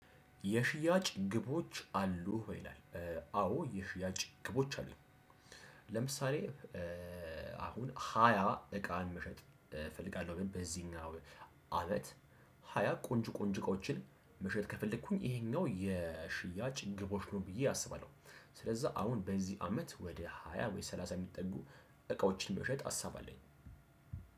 የሽያጭ ግቦች አሉህ ወይ ይላል? አዎ የሽያጭ ግቦች አሉኝ። ለምሳሌ አሁን ሃያ እቃን መሸጥ እፈልጋለሁ ብል በዚህኛው አመት። ሃያ ቆንጆ ቆንጆ እቃዎችን መሸጥ ከፈለኩኝ ይሄኛው የሽያጭ ግቦች ነው ብዬ አስባለሁ። ስለዛ አሁን በዚህ አመት ወደ ሃያ ወይ ሰላሳ የሚጠጉ እቃዎችን መሸጥ ሀሳብ አለኝ።